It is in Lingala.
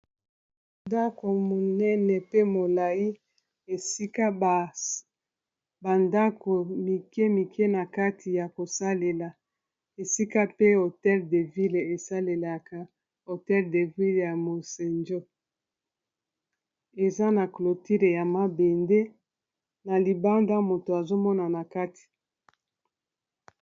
Bandako monene pe molai esika bandako mike mike na kati ya kosalela esika pe hotel de ville esalelaka hotel de ville ya mosanjo eza na clotile ya mabende na libanda moto azomonana kati.